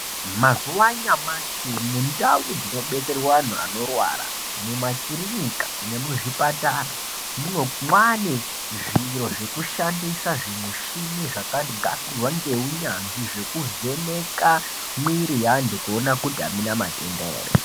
Mazuva anyamashi mundau dzino detserwa antu anorwara mu makirinika nemu zvipatara mwane zviro zveku shandisa zvi mushini zvaka gadzirwa ne unyanzvi zveku vheneka mwiri ye antu kuona kuti amuna matenda ere.